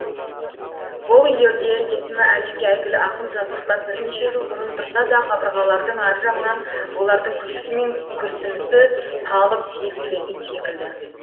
бұл үйлерде есімі әлемге әйгілі ақын жазушылар бірнеше жыл бұрын тұрса да қабырғалардың ар жағынан олардың күлкісі мен күрсінісі талып естілетін секілді